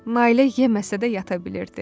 Nailə yeməsə də yata bilirdi.